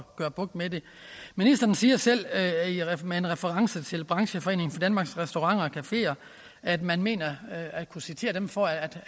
få bugt med det ministeren siger selv med reference til brancheforeningen danmarks restauranter og cafeer at man mener at kunne citere dem for at